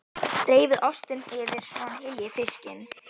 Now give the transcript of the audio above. Dreifið ostinum yfir svo að hann hylji fiskinn.